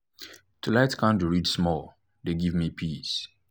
to light candle read small dey give me peace